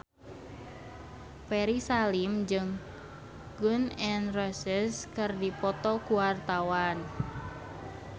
Ferry Salim jeung Gun N Roses keur dipoto ku wartawan